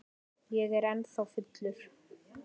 Ég er ennþá fullur.